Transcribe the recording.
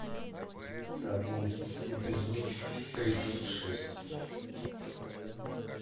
табу эпизод тридцать шесть